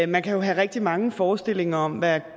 man kan jo have rigtig mange forestillinger om hvad